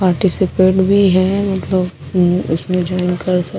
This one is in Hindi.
पार्टिसिफेट भी है उतो उसमे जॉइन कर सकते है ।